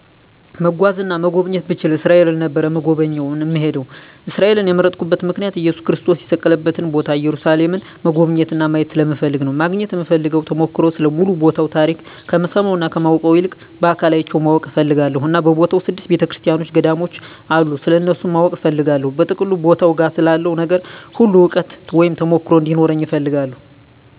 መጓዝ እና መጎብኘት ብችል እስራኤል ነበር እምጎበኝ እና እምሄደዉ። እስራኤልን የመረጥኩበት ምክንያት እየሱስ ክርስቶስ የተሰቀለበትን ቦታ ኢየሩሳሌምን መጎብኘት እና ማየት ስለምፈልግ ነዉ። ማግኘት እምፈልገዉ ተሞክሮ ስለ ሙሉ ቦታዉ ታሪክ ከምሰማዉ እና ከማነበዉ ይልቅ በአካል አይቸዉ ማወቅ እፈልጋለሁ እና በቦታዉ ስድስት ቤተክርሰቲያኖች ገዳሞች አሉ ስለነሱም ማወቅ እፈልጋለሁ። በጥቅሉ ቦታዉ ጋ ስላለዉ ነገር ሁሉ እዉቀት (ተሞክሮ ) እንዲኖረኝ እፈልጋለሁ።